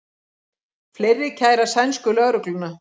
Fleiri kæra sænsku lögregluna